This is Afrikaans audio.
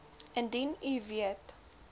indien u weet